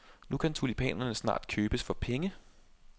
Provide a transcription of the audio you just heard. Nu kan tulipanerne snart købes for penge.